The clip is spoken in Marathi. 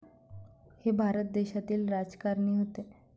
हे भारत देशातील राजकारणी होते.